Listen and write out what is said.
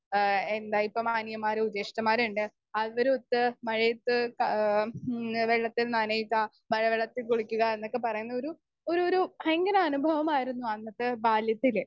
speaker 2 ഏഹ് എന്താ ഇപ്പൊ മാന്യന്മാരു ദുഷ്ട്ടന്മാരുണ്ട് അവരെരുത്ത് മഴയെത്ത് ഏഹ് ഉം വെള്ളത്തിൽ നനയുക മഴ വെള്ളത്തിൽ കുളിക്കുക എന്നൊക്കെ പറയുന്ന ഒരു ഒരു ഒരു ഭയങ്കര അനുഭവമായിരുന്നു അന്നത്തെ ബാല്യത്തിൽ